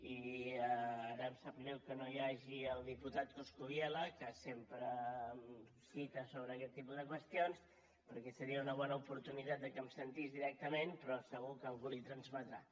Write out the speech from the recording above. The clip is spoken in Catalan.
i ara em sap greu que no hi hagi el diputat coscubiela que sempre em cita sobre aquest tipus de qüestions perquè seria una bona oportunitat de que em sentís directament però segur que algú l’hi transmetrà